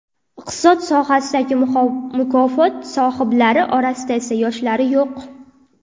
Iqtisod sohasidagi mukofot sohiblari orasida esa yoshlari yo‘q.